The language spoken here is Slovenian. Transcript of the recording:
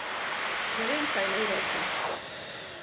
Ne vem, kaj naj rečen.